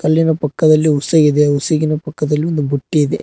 ಅಲ್ಲಿನ ಪಕ್ಕದಲ್ಲಿ ಉಸೆ ಇದೆ ಹುಸೆಗಿನ ಪಕ್ಕದಲ್ಲಿ ಒಂದು ಬುಟ್ಟಿ ಇದೆ.